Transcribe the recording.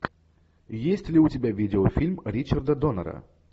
есть ли у тебя видеофильм ричарда доннера